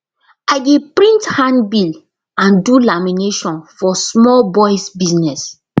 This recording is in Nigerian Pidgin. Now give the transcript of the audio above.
i dey print handbill and do lamination for small boys business